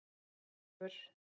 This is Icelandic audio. Björgólfur